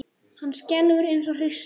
Hann skelfur eins og hrísla.